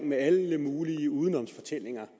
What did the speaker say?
med alle mulige udenomsfortællinger